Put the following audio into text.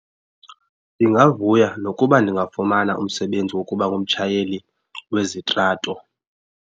Ndingavuya nokuba ndingafumana umsebenzi wokuba ngumtshayeli wezitrato.